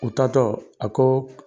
U taatɔ, a ko